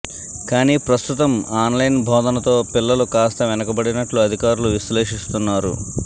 కానీ ప్రస్తుతం ఆన్లైన్ బోధనతో పిల్లలు కాస్త వెనుకబడినట్లు అధికారులు విశ్లేషిస్తున్నారు